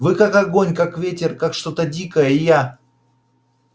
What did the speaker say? вы как огонь как ветер как что-то дикое и я